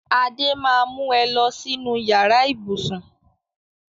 Adé máa mu ẹ lọ sínú yàrá ibùsùn